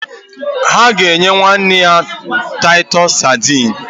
Ha ga-eji enye nwanne ya taitus Sadini